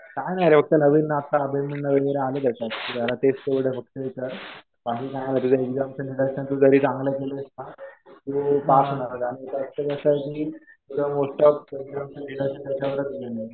काही नाही रे. फक्त नवीन आता अलाइनमेंट वगैरे आलेलं. जरा तेच तेवढं फक्त त्याचं. बाकी काही नाही. तुझं तु जरी चांगलं केलंस ना पास होणार आणि तुला मोस्ट ऑफ याच्यावरच येईल.